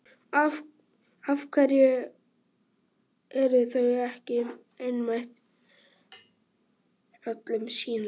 Af hverju eru þau ekki einmitt öllum sýnileg?